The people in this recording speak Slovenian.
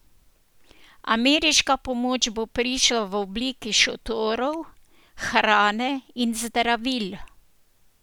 Ameriška pomoč bo prišla v obliki šotorov, hrane in zdravil.